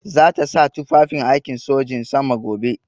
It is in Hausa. Za ta sa tufafin aikin sojin sama gobe.